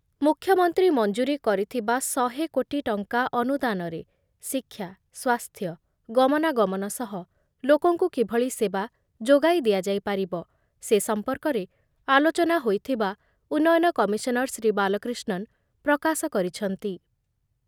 ମୁଖ୍ୟମନ୍ତ୍ରୀ ମଞ୍ଜୁରୀ କରିଥିବା ଶହେ କୋଟି ଟଙ୍କା ଅନୁଦାନରେ ଶିକ୍ଷା ସ୍ଵାସ୍ଥ୍ୟ, ଗମନାଗମନ ସହ ଲୋକଙ୍କୁ କିଭଳି ସେବା ଯୋଗାଇ ଦିଆଯାଇପାରିବ, ସେ ସମ୍ପର୍କରେ ଆଲୋଚନା ହୋଇଥିବା ଉନ୍ନୟନ କମିଶନର ଶ୍ରୀ ବାଲକ୍ରିଷ୍ଣନ ପ୍ରକାଶ କରିଛନ୍ତି ।